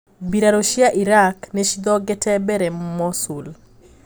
Mbirarũ cia Iraq nicithongete mbere Mosul.